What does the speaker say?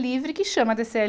livre, que chama DêCêÉ